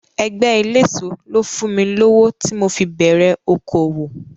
Ẹgbẹ́ eléso ló fún mi lówó tí mo fi bẹ̀rẹ̀ okòòwò.